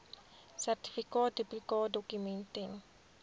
sertifikaat duplikaatdokument ten